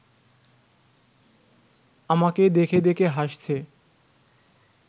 আমাকে দেখে দেখে হাসছে